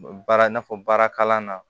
Baara i n'a fɔ baara kalan na